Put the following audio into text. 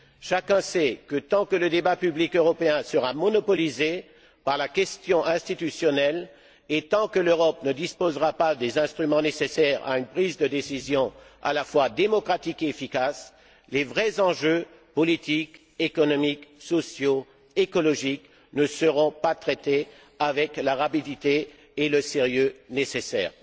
Chacun sait que tant que le débat public européen sera monopolisé par la question institutionnelle et tant que l'Europe ne disposera pas des instruments nécessaires à une prise de décision à la fois démocratique et efficace, les vrais enjeux politiques, économiques, sociaux, écologiques, ne seront pas traités avec la rapidité et le sérieux nécessaires.